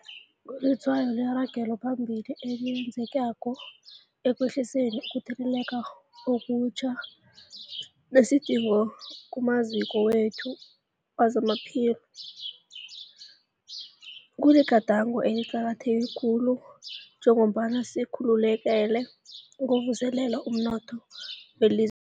Kulitshwayo leragelo phambili esilenzako ekwehliseni ukutheleleka okutjha nesidingo kumaziko wethu wezamaphilo. Kuligadango eliqakatheke khulu njengombana sikalukanela ukuvuselela umnotho weliz